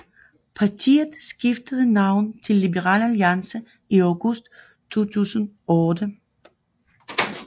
Partiet skiftede navn til Liberal Alliance i august 2008